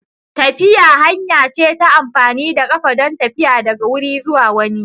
Tafiya hanya ce ta amfani da ƙafa don tafiya daga wuri zuwa wani.